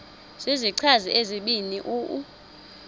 zizichazi ezibini u